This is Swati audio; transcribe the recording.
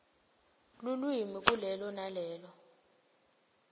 elulwimi kulelo nalelo